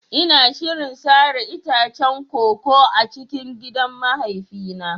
Ina shirin sare itacen koko a cikin gidan mahaifina.